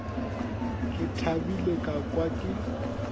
ke thabile ka kwa ke